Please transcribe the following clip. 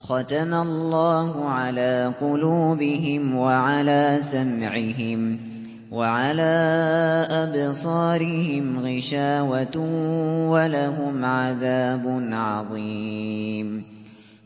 خَتَمَ اللَّهُ عَلَىٰ قُلُوبِهِمْ وَعَلَىٰ سَمْعِهِمْ ۖ وَعَلَىٰ أَبْصَارِهِمْ غِشَاوَةٌ ۖ وَلَهُمْ عَذَابٌ عَظِيمٌ